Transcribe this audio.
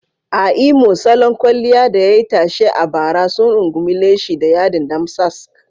A Imo, salon kwalliya da yayi tashe a bara sun rungumi leshi da yadin damsask.